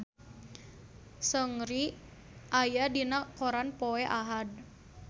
Seungri aya dina koran poe Ahad